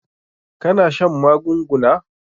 Ka na shan magunguna?